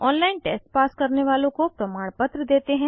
online test pass करने वालों को प्रमाणपत्र देते हैं